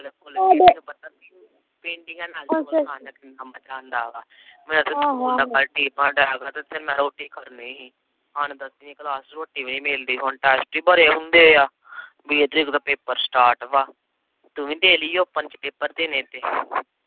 ਤੂੰ ਵੀ ਦੇਲੀ ਓਪਨ ਚ ਦੇਣੇ ਤੇ